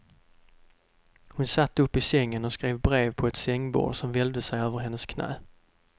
Hon satt upp i sängen och skrev brev på ett sängbord som välvde sig över hennes knän.